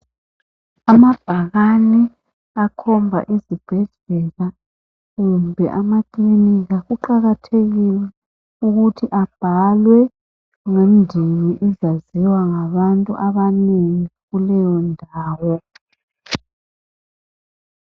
Amabhakane akhomba izibhedlela kumbe amakilinika. Kuqakathekile ukuthi abhalwe ngendimi ezaziwa ngabantu abanengi kuleyondawo